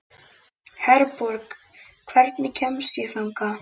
Herborg, hvernig kemst ég þangað?